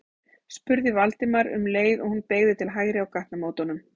spurði Valdimar um leið og hún beygði til hægri á gatnamótunum.